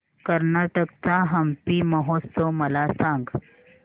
कर्नाटक चा हम्पी महोत्सव मला सांग